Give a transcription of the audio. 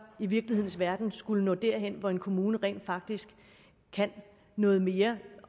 i virkelighedens verden skulle nå derhen hvor en kommune rent faktisk kan noget mere